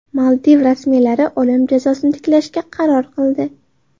Maldiv rasmiylari o‘lim jazosini tiklashga qaror qildi.